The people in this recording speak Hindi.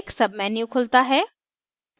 एक menu खुलता है